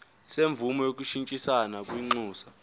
semvume yokushintshisana kwinxusa